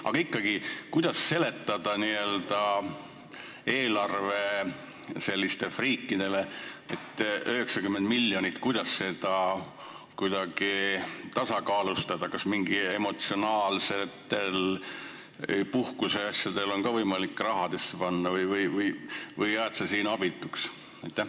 Aga ikkagi, kuidas seletada n-ö sellistele eelarvefriikidele, kuidas seda 90 miljonit tasakaalustada, kas mingeid emotsionaalseid puhkuseasju on võimalik ka rahasse ümber panna või jääd sa siin abituks?